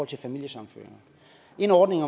til familiesammenføringer en ordning